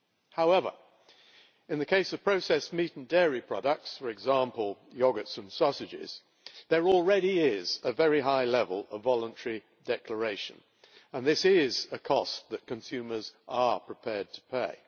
However, in the case of processed meat and dairy products, for example yogurts and sausages, there already is a very high level of voluntary declaration and this is a cost that consumers are prepared to pay.